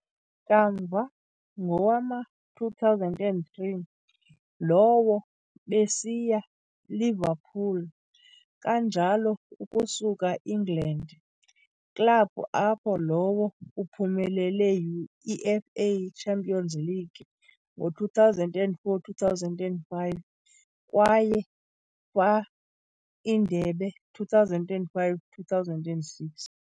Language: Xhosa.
Kamva, ngowama-2003, lowo besiya Liverpool, kanjalo ukusuka England, club apho lowo uphumelele UEFA Champions League ngo 2004-05 kwaye fa Indebe 2005-06.